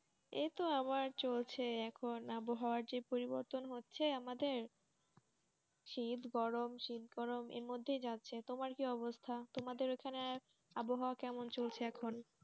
এতো আমার চলছে এখন আবহাওয়া যে পরিবতন হচ্ছে আমাদের শীত গরম শীত গরম এর মধ্যে যাচ্ছে তোমার কি অবস্থা তোমাদের এখানে আবহাওয়া কেমন চলছে এখন